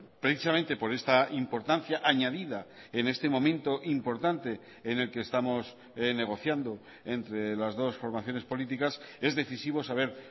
precisamente por esta importancia añadida en este momento importante en el que estamos negociando entre las dos formaciones políticas es decisivo saber